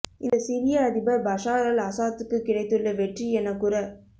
இந்த சிரிய அதிபர் பஷார் அல் அசாத்துக்குக் கிடைத்துள்ள வெற்றி எனக் கூறப்